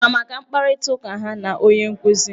Ị ma maka mkparịta ụka ha na onye nkụzi?